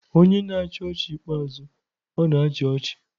Onye na-achị ọchị ikpeazụ, ọ na-achị ọchị.